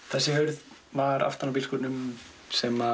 þessi hurð var aftan á bílskúrnum sem